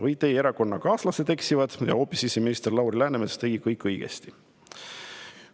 Või teie erakonnakaaslased eksivad ja hoopis siseminister Lauri Läänemets tegi kõik õigesti?